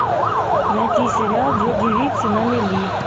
найти сериал две девицы на мели